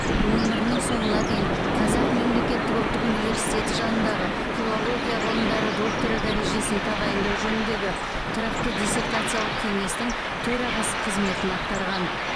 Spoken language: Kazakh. өмірінің соңына дейін қазақ мемлекеттік ұлттық университеті жанындағы филология ғылымдары докторы дәрежесін тағайындау жөніндегі тұрақты диссертациялық кеңестің төрағасы қызметін атқарған